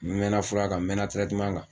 N mɛɛnna fura kan n mɛɛnna kan